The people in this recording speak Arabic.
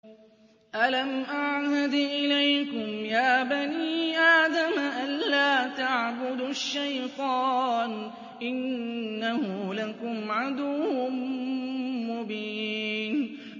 ۞ أَلَمْ أَعْهَدْ إِلَيْكُمْ يَا بَنِي آدَمَ أَن لَّا تَعْبُدُوا الشَّيْطَانَ ۖ إِنَّهُ لَكُمْ عَدُوٌّ مُّبِينٌ